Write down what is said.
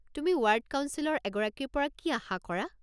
তুমি ৱাৰ্ড কাউঞ্চিলৰ এগৰাকীৰ পৰা কি আশা কৰা?